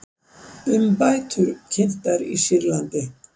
Umbætur kynntar í Sýrlandi